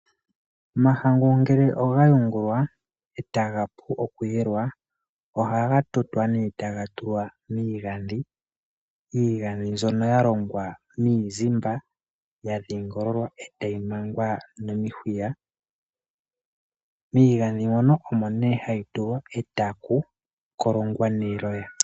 Omahangu ngele oga yungulwa etaga pu oku yelwa ohaga tutwa ne taga tulwa miigandhi. Iigandhi mbyono ya longwa miizimba ya dhingololwa etayi mangwa nomihuya. Miigandhi mono omo nee hayi tulwa etaku kolongwa neloya.